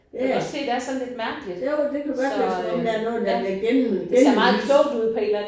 Ja jo det kunne godt være som om der er noget der bliver gennem gennemlyst